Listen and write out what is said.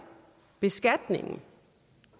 beskatningen